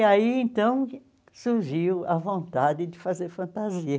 E aí, então, surgiu a vontade de fazer fantasia.